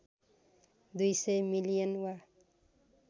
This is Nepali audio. २०० मिलियन वा